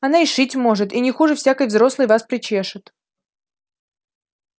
она и шить может и не хуже всякой взрослой вас причешет